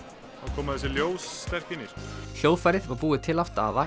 koma þessi ljós inn í hljóðfærið var búið til af Daða